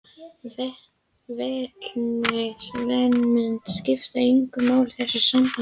Vitneskja viðsemjenda skiptir engu máli í þessu sambandi.